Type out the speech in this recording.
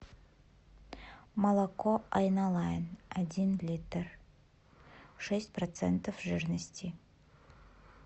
молоко айналайын один литр шесть процентов жирности